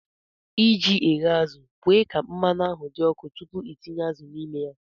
ị ji ghe azụ̀, kwe ka mmanụ ahụ dị ọkụ tupu ị tinye azụ̀ n'ime ya